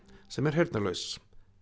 sem er heyrnalaus